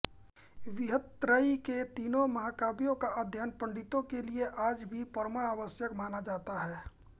बृहत्त्रयी के तीनों महाकाव्यों का अध्ययन पंडितों के लिए आज भी परमावश्यक माना जाता है